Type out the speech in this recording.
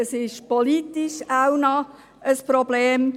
Es ist auch noch ein politisches Problem.